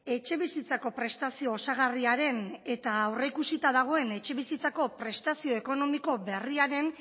etxebizitzako prestazio osagarriaren eta aurrikusita dagoen etxebizitzako prestazio ekonomiko berriaren